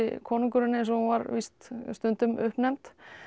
konungurinn eins og hún var víst stundum uppnefnd